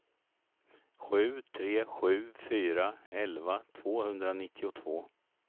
sju tre sju fyra elva tvåhundranittiotvå